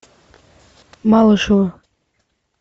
малышева